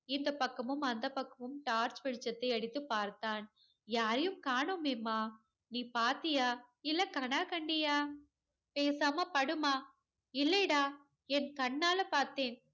இந்தப் பக்கமும் அந்தப் பக்கமும் torch வெளிச்சத்தை அடித்து பார்த்தான். யாரையும் காணோமேமா. நீ பாத்தியா இல்ல, கனா கண்டியா? பேசாம படும்மா. இல்லைடா. என கண்ணால பார்த்தேன்.